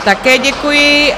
Také děkuji.